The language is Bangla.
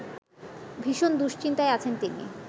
ভীষণ দুশ্চিন্তায় আছেন তিনি